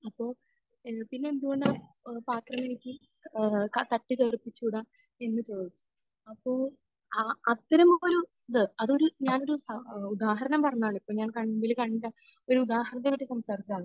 അപ്പോൾ ഏഹ് പിന്നെ എന്തുകൊണ്ടാണ് പാത്രം എനിക്ക് ഏഹ് തട്ടിത്തെറിപ്പിച്ചുകൂട? എന്ന് ചോദിച്ചു. അപ്പോൾ അഹ് അത്തരമൊരു ഇത്. അതൊരു, ഞാനൊരു എഹ് ഉദാഹരണം പറഞ്ഞതാണ്. ഇപ്പോ ഞാൻ കണ്മുൻപിൽ കണ്ട ഒരു ഉദാഹരണത്തെ പറ്റി സംസാരിച്ചതാണ്.